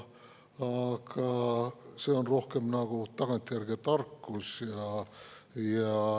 Aga see on rohkem nagu tagantjärele tarkus.